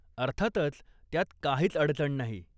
अर्थातच! त्यात काहीच अडचण नाही.